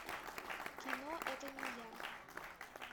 кино это не я